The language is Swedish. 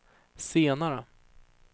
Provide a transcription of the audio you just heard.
senare